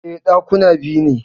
E, Ɗakuna biyu ne